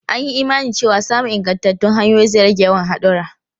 An yi imanin cewa samun ingantattun hanyoyi zai rage yawan hadura.